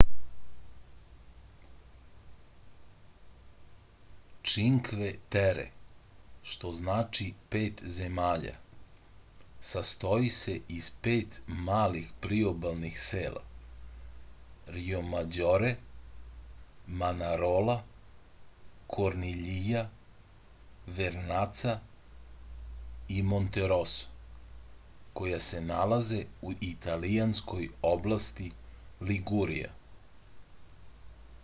činkve tere što znači pet zemalja sastoji se iz pet malih priobalskih sela rjomađore manarola korniljija vernaca i monteroso koja se nalaze u italijanskoj oblasti ligurija